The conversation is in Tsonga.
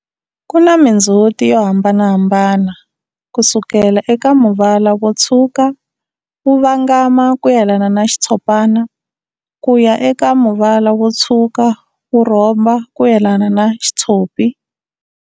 Kuna mindzhuti yo hambanahambana kusukela eka muvala wo tshwuka wu vangama kuyelana na xitshopana, kuya eka muvala wo tshwuka wu rhomba kuyelana na xitshopi.